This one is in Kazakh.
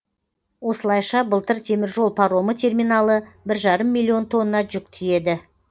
осылайша былтыр теміржол паромы терминалы бір жарым миллион тонна жүк тиеді